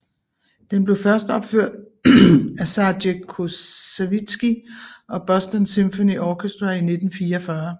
Den blev førsteopført af Serge Koussevitsky og Boston Symphony Orchestra i 1944